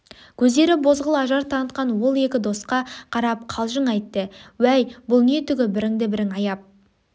көздері бозғыл ажар танытқан ол екі досқа қарап қалжың айтты уәй бұл не түгі бірінді-бірің аяп